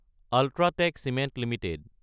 UltraTech cement Ltd